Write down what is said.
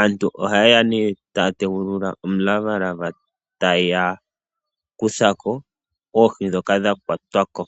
Aantu ohayeya ne taya tegulula omulavalava etaya kuthako oohi ndhoka dha kwatwa ko.